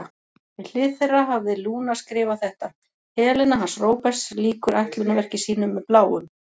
Við hlið þeirra hafði Lúna skrifað þetta: Helena hans Róberts lýkur ætlunarverki sínu með Bláum.